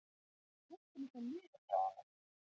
Ég er heppinn að fá liðið frá honum.